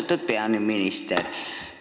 Austatud peaminister!